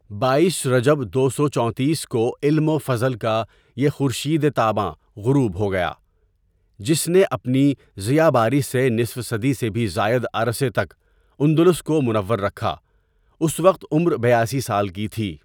بایس رجب دو سو چونتیس کو علم و فضل کا یہ خورشیدِ تاباں غروب ہوگیا ،جس نے اپنی ضیاباری سے نصف صدی سے بھی زائد عرصہ تک اندلس کو منور رکھا اس وقت عمر بیاسی سال کی تھی.